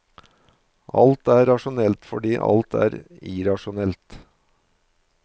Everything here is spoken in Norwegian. Alt er rasjonelt, fordi alt er irrasjonelt.